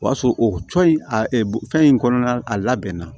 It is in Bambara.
O y'a sɔrɔ o cɔ in a fɛn in kɔnɔna a labɛnna